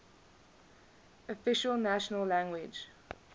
official national language